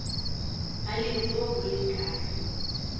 ba leruo bo le ka